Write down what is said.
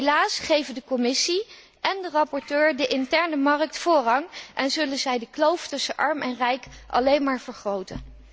Helaas geven de Commissie en de rapporteur de interne markt voorrang en zullen zij de kloof tussen arm en rijk alleen maar vergroten.